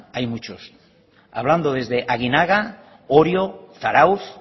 hay muchos hablando desde aginaga orio zarautz